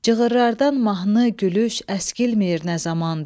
Cığırrlardan mahnı, gülüş əskilmir nə zamandır.